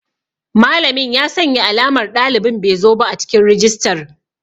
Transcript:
Malamin ya sanya alamar ɗalibin bezoba a cikin rajistar.